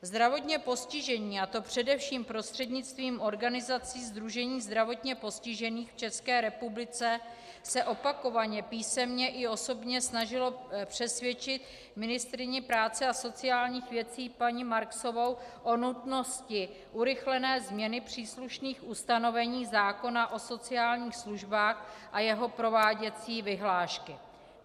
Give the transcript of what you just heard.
Zdravotně postižení, a to především prostřednictvím organizace Sdružení zdravotně postižených v České republice, se opakovaně písemně i osobně snažili přesvědčit ministryni práce a sociálních věcí paní Marksovou o nutnosti urychlené změny příslušných ustanovení zákona o sociálních službách a jeho prováděcí vyhlášky.